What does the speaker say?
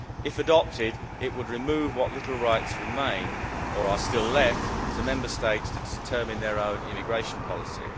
If adopted it would remove what little rights remain or are still left to Member States to determine their own immigration policy.